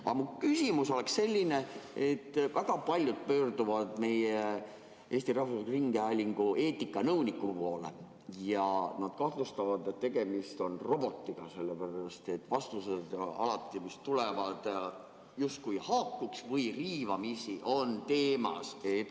Aga mu küsimus on selline: väga paljud pöörduvad Eesti Rahvusringhäälingu eetikanõuniku poole ja kahtlustavad, et tegemist on robotiga, sellepärast et sealt tulevad vastused alati justkui vaid haakuvad teemaga või on sellega riivamisi seotud.